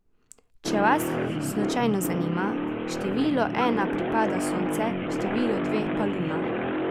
Če vas slučajno zanima, številu ena pripada Sonce, številu dve pa Luna.